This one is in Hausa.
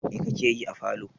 Mai kake yi a falo?